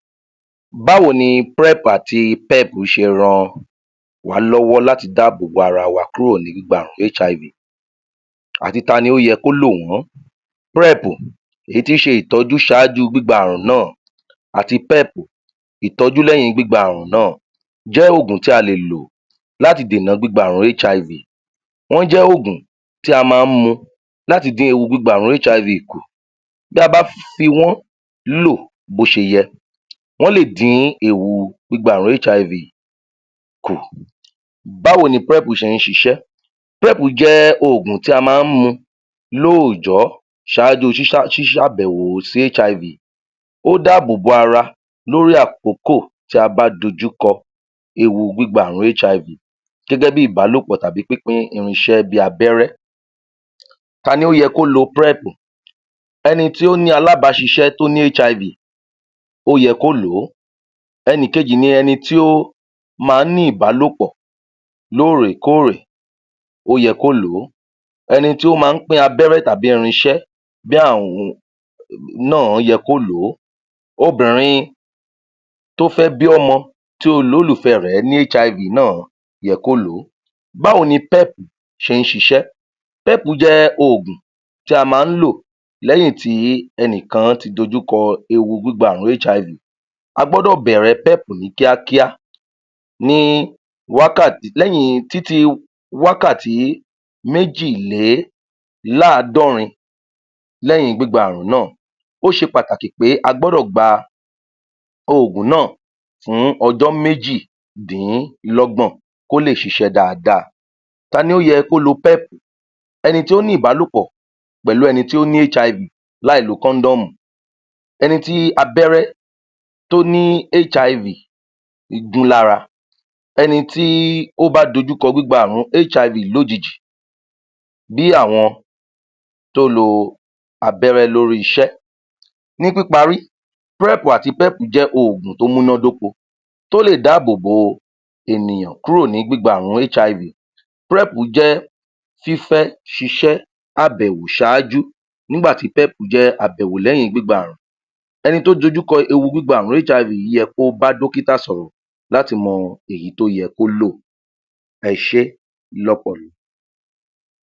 Báwo ni prẹ́pù àti pẹ́pù ṣe ran wá lọ́wọ́ láti dá àbò bo ara wa kúrò láti gba àrùn HIV àti tani ó yẹ kí ó lò wọ́n prẹ́pù èyí tí ṣe ìtọ́jú sáájú gbígba àrùn náà àti pẹ́pù ìtọ́jú léyìn gbígba àrùn náà jẹ́ ògùn tí a lè lò láti dè nà gbígba àrùn HIV wọ́n jẹ́ ògùn tí a má mu láti dín ọ̀nà gbígba àrùn HIV kù bí a bá fi wọ́n lò bótiyẹ wọ́n lè dín ewu gbígba àrùn HIV kù báwo ni prẹ́pù ṣe ṣiṣẹ́ prẹ́pù jẹ́ ògùn tí a má mu ló òjọ́ sáájú sísá sísábẹ̀wo sí HIV ó dábòbò ara lórí àkọ́kọ̀ tí a bá dojú kọ ewu gbígba àrùn HIV gẹ́gẹ́ bí ìbálòpọ̀ tàbí pínpín irinṣẹ́ bí abẹrẹ taló yẹ kí ó lo prẹ́pù ẹni tó ní alábáṣiṣẹ́ tó ní HIV ọ́ yẹ kó lo ẹ̀nìkejì ni ẹni tí ó ma ní ìbàlòpọ̀ lóòrè lóòrè ó yẹ kó lò ó ẹni tí ó má pín abẹ́rẹ́ tàbí irinṣé bí àwun náà yẹ kó lò ò obìnrin tó fẹ́ bí ọmọ tí olúlùfẹ́ rẹ̀ ní HIV náà yẹ kó lò ó báwo ni pẹ́pù ṣe ṣiṣẹ́ pẹ́pù jẹ́ ògùn tí a má lò léyìn tí ẹnìkan ti dojú kọ ewu gbígba àrùn HIV a gbọ́dọ̀ bẹ̀rẹ̀ pẹ́pù ní kíákíá ní wákàtí léyìn títí wákàti méjì lé láàdọrin léyin gbígba àrùn náà ó ṣe pàtàkì pé a gbọ́dọ̀ gba ògùn náà fún ọjọ́ méjì dínlọ́gbòn kó lè ṣiṣẹ́ dáadáa taló yẹ kó lo pẹ́pu ẹni tí o ní ìbálòpọ̀ pèlú ẹni tÍ ní HIV lá lo kọ́ndọ̀mù ẹni tí abẹ́rẹ́ tó ní HIV igúlára ẹni tí ó bá dojú kọ gbígba àrùn HIV lójijì bí àwọn tó lo abẹ́rẹ lórí iṣẹ́ ní píparí prẹ́pù àti pẹ́pù jẹ́ ògùn tó múná dóko tó lè dábòbò ènìyàn kúrò ní gbígba àrùn HIV prẹ́pù fí fẹ́ ṣiṣẹ́ àbẹ̀wò sáájú nígbàtí pẹ́pù jẹ́ àbẹ̀wò lẹ́yìn gbígba ẹni tó dojú kọ ewu gbígba àrùn HIV yìí ó yẹ kó bá dọ́kítà sọ̀rọ̀ láti mọ èyí tó yẹ kó lò ẹṣẹ́ lọ́pọ̀